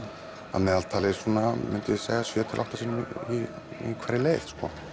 að meðaltali svona myndi ég segja sjö til átta sinnum í hverri leið